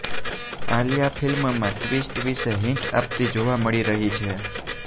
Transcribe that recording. આલિયા ફિલ્મમાં ટ્વિસ્ટ વિશે હિંટ આપતી જોવા મળી રહી છે